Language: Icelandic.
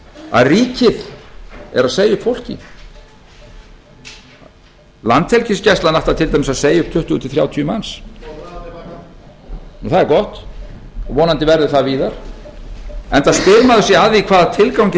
að ríkið er að segja upp fólki landhelgisgæslan ætlar til dæmis að segja um tuttugu þrjátíu manns nú það er gott og vonandi verður það víðar enda spyr maður sig að því hvaða tilgangi